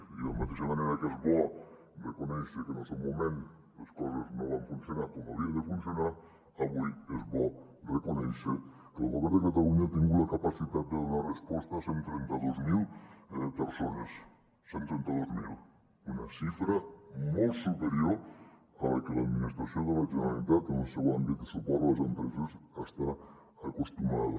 i de la mateixa manera que és bo reconèixer que en el seu moment les coses no van funcionar com havien de funcionar avui és bo reconèixer que el govern de catalunya ha tingut la capacitat de donar resposta a cent i trenta dos mil persones cent i trenta dos mil una xifra molt superior a la que l’administració de la generalitat en el seu àmbit de suport a les empreses hi està acostumada